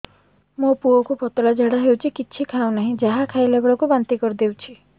ମୋ ପୁଅ କୁ ପତଳା ଝାଡ଼ା ହେଉଛି କିଛି ଖାଉ ନାହିଁ ଯାହା ଖାଇଲାବେଳକୁ ବାନ୍ତି କରି ଦେଉଛି